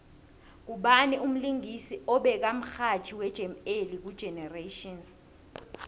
ngubawi umlingisi obeka mxhatjhiwe jam alley ku generations